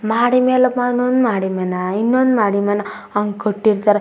ಮಾಡಿ ಮನೆ ಮೇಲೆ ಮಾಡಿ ಮನಿ ಇನ್ನೊಂದು ಮಾಡಿ ಮನೆ ಹಂಗ್ ಕಟ್ಟಿರ್ತರ್.